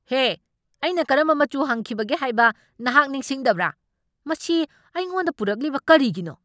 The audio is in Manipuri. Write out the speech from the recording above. ꯍꯦ, ꯑꯩꯅ ꯀꯔꯝꯕ ꯃꯆꯨ ꯍꯪꯈꯤꯕꯒꯦ ꯍꯥꯏꯕ ꯅꯍꯥꯛ ꯅꯤꯡꯁꯤꯡꯗꯕ꯭ꯔꯥ? ꯃꯁꯤ ꯑꯩꯉꯣꯟꯗ ꯄꯨꯔꯛꯂꯤꯕ ꯀꯔꯤꯒꯤꯅꯣ?